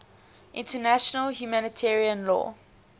international humanitarian law